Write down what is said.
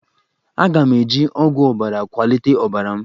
Aga m eji ọgwụ ọbara kwalite ọbara m